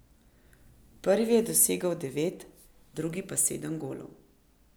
Prvi je dosegel devet, drugi pa sedem golov.